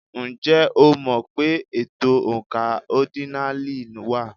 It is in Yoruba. Ǹjẹ́ o mọ̀ pé ètò oǹkà ọ́dínààlí wà?